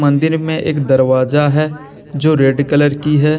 मंदिर में एक दरवाजा है जो रेड कलर की है।